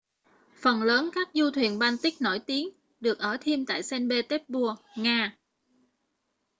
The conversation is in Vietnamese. phần lớn các du thuyền baltic nổi tiếng được ở thêm tại st petersburg nga